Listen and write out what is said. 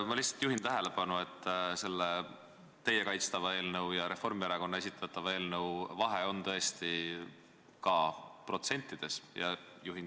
Ma lihtsalt juhin tähelepanu, et selle teie kaitstava eelnõu ja Reformierakonna esitatava eelnõu vahe on tõesti ka protsentides.